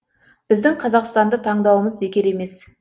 біздің қазақстанды таңдауымыз бекер емес